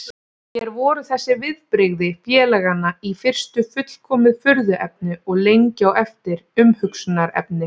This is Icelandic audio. Mér voru þessi viðbrigði félaganna í fyrstu fullkomið furðuefni og lengi á eftir umhugsunarefni.